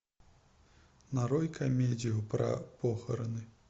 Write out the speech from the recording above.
нарой комедию про похороны